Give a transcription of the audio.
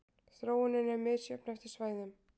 Þróunin er misjöfn eftir svæðum.